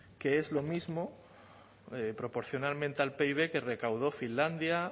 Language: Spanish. que es lo mismo proporcionalmente al pib que recaudó finlandia